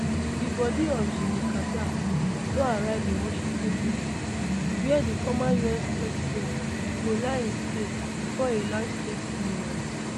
di body of jimmy carter don arrive in washington dc wia di former us president go lie in state bifor a large state funeral